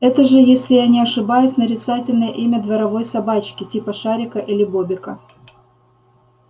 это же если я не ошибаюсь нарицательное имя дворовой собачки типа шарика или бобика